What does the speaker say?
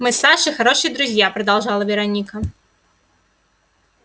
мы с сашей хорошие друзья продолжала вероника